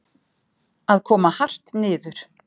Að koma hart niður